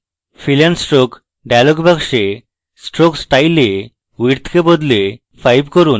fill and stroke dialog box stroke style এ width কে বদলে 5 করুন